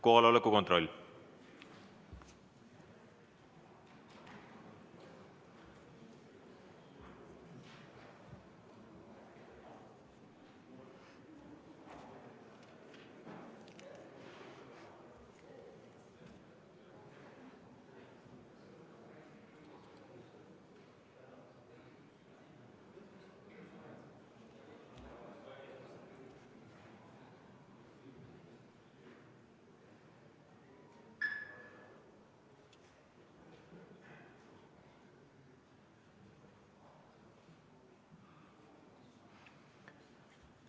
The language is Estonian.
Kohaloleku kontroll!